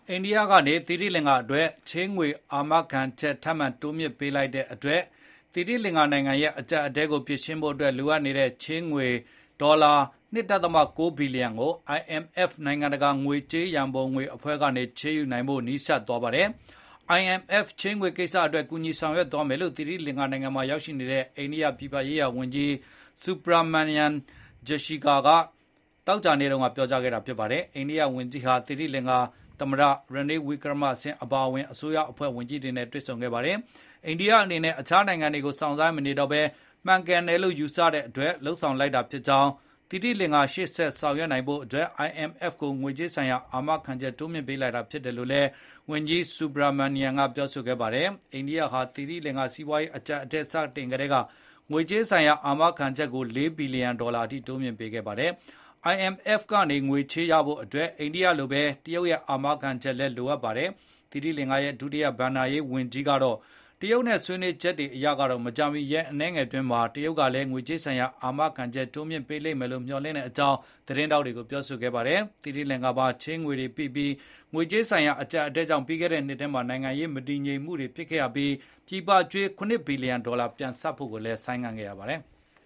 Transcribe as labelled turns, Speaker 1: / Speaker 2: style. Speaker 1: အိန္ဒိယကနေ သီရိလင်္ကာအတွက် ချေးငွေ အာမခံချက် ထပ်မံတိုးမြှင့်ပေးလိုက်တဲ့အတွက် သီရိလင်္ကာနိုင်ငံရဲ့ အကြပ်အတည်းကို ဖြေရှင်းဖို့အတွက် လိုအပ်နေတဲ့ ချေးငွေ အမေရိကန်ဒေါ်လာ ၂ ဒဿမ ၉ ဘီလီယံ ကို IMF နိုင်ငံတကာငွေကြေး ရံပုံငွေအဖွဲ့ ကနေ ချေးယူနိုင်ဖို့ ပိုမိုနီးစပ်သွားပါတယ်။ IMF ချေးငွေကိစ္စအတွက် ကူညီဆောင်ရွက်သွားမယ်လို့ သီရိလင်္ကာနိုင်ငံမှာ ရောက်ရှိနေတဲ့ အိန္ဒိယပြည်ပရေးရာဝန်ကြီး Minister Subrahmanyam Jaishankar က သောကြာနေ့မှာ ပြောကြားခဲ့ပါတယ်။ အိန္ဒိယဝန်ကြီးဟာ သီရိင်္လာကာ သမ္မတ Renail Wickremesinghe အပါအဝင် အစိုးရဝန်ကြီးတွေနဲ့ တွေ့ဆုံခဲ့ပါတယ်။ အိန္ဒိယအနေနဲ့ အခြားနိုင်ငံတွေကို စောင့်ဆိုင်းမနေတော့ပဲ မှန်ကန်တယ်လို့ ယူဆတဲ့အတွက် လုပ်ဆောင်လိုက်တာဖြစ်ပါတယ်။ သီရိလင်္ကာ ရှေ့ဆက်ဆောင်ရွက်နိုင်ဖို့အတွက် IMF ကိုငွေကြေးဆိုင်ရာ အာမခံချက်တိုးမြှင့်ပးလိုက်တာ ဖြစ်ပါတယ် လို့လည်း ဝန်ကြီး Subrahmanyanm က ပြောပါတယ်။ အိန္ဒိယဟာ သီရိလင်္ကာ စီးပွားရေး အကြပ်အတည်း စတင်ကတည်းက ငွေကြေးဆိုင်ရာ အာမခံချက်ကို ၄ ဘီလီယံ ဒေါ်လာအထိ တိုးမြှင့်ပေးခဲ့ပါတယ်။ IMF ကနေ ချေးငွေရဖို့အတွက် အိန္ဒိယလိုပဲ တရုတ်ရဲ့အာမခံချက်လည်း လိုအပ်ပါတယ်။ သီရိလင်္ကာရဲ့ ဒုတိယ ဘဏ္ဍာရေး ဝန်ကြီး Priyantha Ratnayake ကတော့ တရုတ်နဲ့ ဆွေးနွေးချက်အရကတော့ မကြာမီ ရက်အနည်းငယ်အတွင်းမှာ တရုတ်ကလည်း ငွေကြေးဆိုင်ရာ အာမခံချက်ကို တိုးမြှင့်ပေးလိမ့်မယ်လို့ မျှော်လင့်ကြောင်း သတင်းထောက်တွေကို ပြောဆိုခဲ့ပါတယ်။ သီရိလင်္ကာမှာ ချေးငွေတွေပိပြီး ငွေကြေးဆိုင်ရာ အကြပ်အတည်းကြောင့် ပြီးခဲ့နှစ်ထဲမှာ နိုင်ငံရေး မတည်ငြိမ်မှုတွေဖြစ်ခဲ့ရပြီး ပြည်ပကြွေးပြီး ၇ ဘီလီယံဒေါ်လာ ပြန်ဆပ်ဖို့ကို ဆိုင်းငံထားခဲ့ပါတယ်။